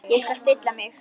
Ég skal stilla mig.